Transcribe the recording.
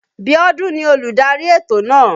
Biọ́dún ni olùdarí ètò náà.